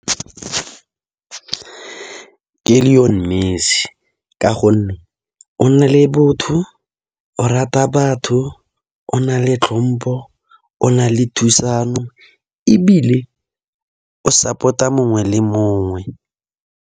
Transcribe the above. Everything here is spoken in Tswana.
Ke Lionel Messi ka gonne o na le botho, o rata batho, o na le tlhompo, o na le thusano go ebile o support-a mongwe le mongwe.